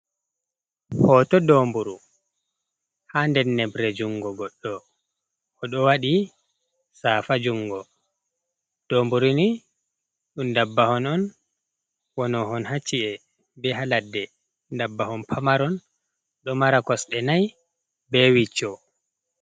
Hoto domburu ha nder nebre jungo goɗɗo, o ɗo waɗi safa jungo, domburu ni ɗum ndabbawa on wano hon hacci’e be haladde, ndabbawa on pamaron ɗo mari kosɗe nai be wicco.